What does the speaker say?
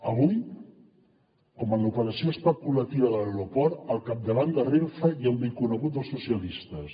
avui com en l’operació especulativa de l’aeroport al capdavant de renfe hi ha un vell conegut dels socialistes